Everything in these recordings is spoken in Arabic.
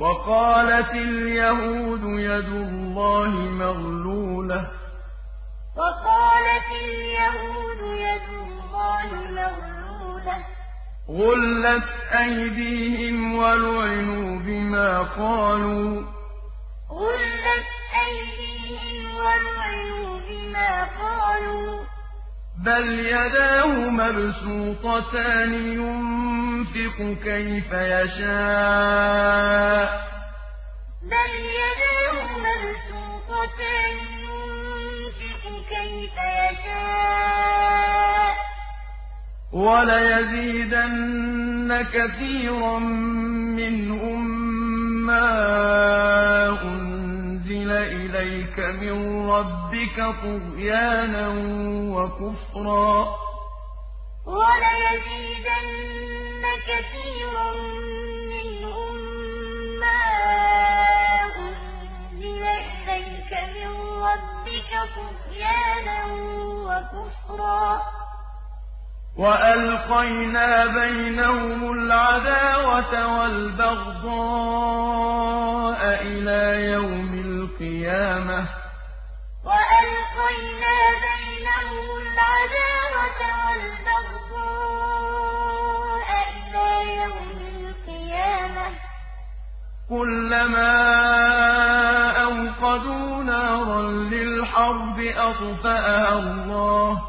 وَقَالَتِ الْيَهُودُ يَدُ اللَّهِ مَغْلُولَةٌ ۚ غُلَّتْ أَيْدِيهِمْ وَلُعِنُوا بِمَا قَالُوا ۘ بَلْ يَدَاهُ مَبْسُوطَتَانِ يُنفِقُ كَيْفَ يَشَاءُ ۚ وَلَيَزِيدَنَّ كَثِيرًا مِّنْهُم مَّا أُنزِلَ إِلَيْكَ مِن رَّبِّكَ طُغْيَانًا وَكُفْرًا ۚ وَأَلْقَيْنَا بَيْنَهُمُ الْعَدَاوَةَ وَالْبَغْضَاءَ إِلَىٰ يَوْمِ الْقِيَامَةِ ۚ كُلَّمَا أَوْقَدُوا نَارًا لِّلْحَرْبِ أَطْفَأَهَا اللَّهُ ۚ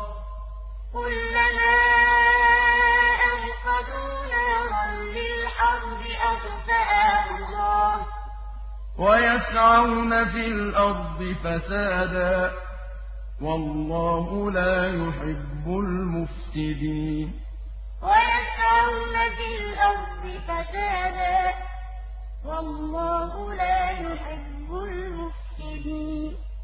وَيَسْعَوْنَ فِي الْأَرْضِ فَسَادًا ۚ وَاللَّهُ لَا يُحِبُّ الْمُفْسِدِينَ وَقَالَتِ الْيَهُودُ يَدُ اللَّهِ مَغْلُولَةٌ ۚ غُلَّتْ أَيْدِيهِمْ وَلُعِنُوا بِمَا قَالُوا ۘ بَلْ يَدَاهُ مَبْسُوطَتَانِ يُنفِقُ كَيْفَ يَشَاءُ ۚ وَلَيَزِيدَنَّ كَثِيرًا مِّنْهُم مَّا أُنزِلَ إِلَيْكَ مِن رَّبِّكَ طُغْيَانًا وَكُفْرًا ۚ وَأَلْقَيْنَا بَيْنَهُمُ الْعَدَاوَةَ وَالْبَغْضَاءَ إِلَىٰ يَوْمِ الْقِيَامَةِ ۚ كُلَّمَا أَوْقَدُوا نَارًا لِّلْحَرْبِ أَطْفَأَهَا اللَّهُ ۚ وَيَسْعَوْنَ فِي الْأَرْضِ فَسَادًا ۚ وَاللَّهُ لَا يُحِبُّ الْمُفْسِدِينَ